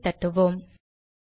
enter ஐ தட்டுவோம்